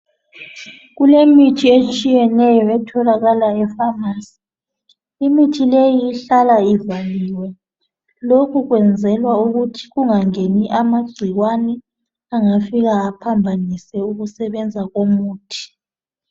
kulemithi etshiyeneyo etholakala e phamarcy imithi leyi ihlala ivaliwe lokhu kwenzelwa ukuthi kungangeni amagcikwane angafika aphambanise ukusebenza komuthi